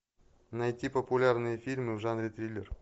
найти популярные фильмы в жанре триллер